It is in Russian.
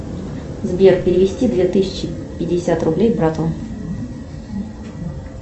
сбер перевести две тысячи пятьдесят рублей брату